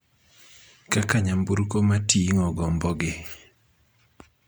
kaka nyamburko ma ting�o gombogi.